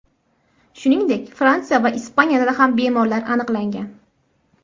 Shuningdek, Fransiya va Ispaniyada ham bemorlar aniqlangan.